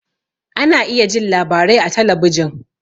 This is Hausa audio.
Ana iya jin labarai a talabijin